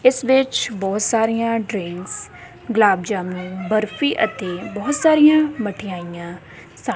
ਇਸ ਵਿੱਚ ਬਹੁਤ ਸਾਰੀਆਂ ਡਰਿੰਕਸ ਗੁਲਾਬ ਜਾਮੁਨ ਬਰਫੀ ਅਤੇ ਬਹੁਤ ਸਾਰੀਆਂ ਮਠਿਆਈਆਂ ਸਾ --